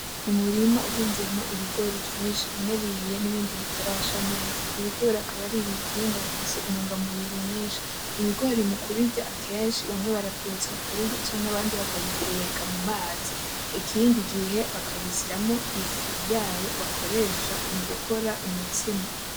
Umurima uhinzemo ibigori vyinshi bimwe bihiye n’ibindi bitarasha neza. ibigori akaba aribihingwa bifise intungamubiri nyinshi. Ibigori mukubirya akenshi bamwe baravyotsa bakabirya canke abandi bakabiteka mu mazi ikindi gihe bakabisyamo ifu yayo bakoresha mugukora umutsima.